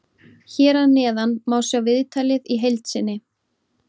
Hér að neðan má sjá viðtalið í heild sinni.